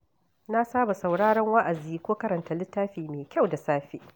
Na saba sauraron wa’azi ko karanta littafi mai kyau da safe.